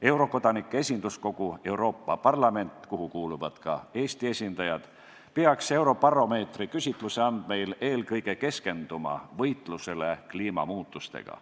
Eurokodanike esinduskogu Euroopa Parlament, kuhu kuuluvad ka Eesti esindajad, peaks Eurobaromeetri küsitluse andmeil keskenduma eelkõige võitlusele kliimamuutustega.